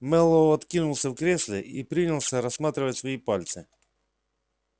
мэллоу откинулся в кресле и принялся рассматривать свои пальцы